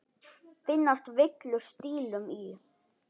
Finnast villur stílum í.